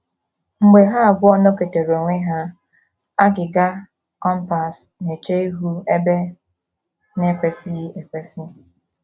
Mgbe ha abụọ nọketere onwe ha, agịga compass na - eche ihu ebe na - ekwesịghị ekwesị.